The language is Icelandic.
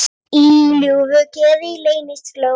Í ljúfu geði leynist glóð.